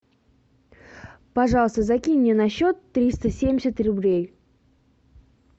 пожалуйста закинь мне на счет триста семьдесят рублей